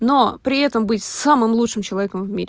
но при этом быть самым лучшим человеком в мире